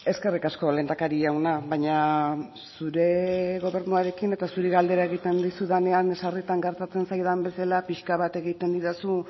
eskerrik asko lehendakari jauna baina zure gobernuarekin eta zuri galdera egiten dizudanean sarritan gertatzen zaidan bezala pixka bat egiten didazu